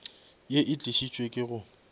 ye e tlišitšwe ke go